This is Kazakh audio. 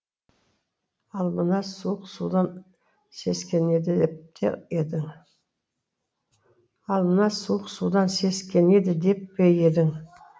ал мына суық судан сескенеді деп пе едің